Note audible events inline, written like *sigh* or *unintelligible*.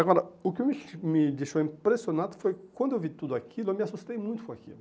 Agora, o que me *unintelligible* me deixou impressionado foi quando eu vi tudo aquilo, eu me assustei muito com aquilo.